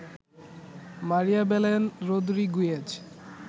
Maria Belen Rodriguez